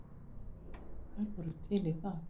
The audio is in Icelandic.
Þær voru til í það.